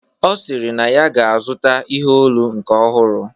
Ọ sịrị na ya ga-azụta ihe olu nke ọhụrụ